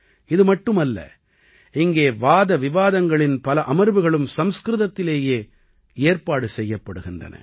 இது மட்டுமல்ல இங்கே வாதவிவாதங்களின் பல அமர்வுகளும் சம்ஸ்கிருதத்திலேயே ஏற்பாடு செய்யப்படுகின்றன